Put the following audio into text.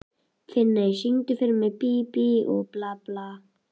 Finney, syngdu fyrir mig „Bí bí og blaka“.